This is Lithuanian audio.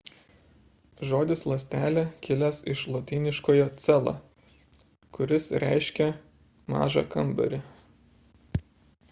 žodis ląstelė kilęs iš lotyniškojo cella kuris reiškia mažą kambarį